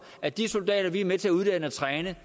at de soldater vi er med til at uddanne og træne